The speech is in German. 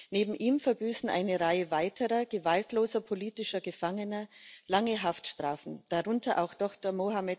Neben ihm verbüßen eine Reihe weiterer gewaltloser politischer Gefangener lange Haftstrafen, darunter auch Dr.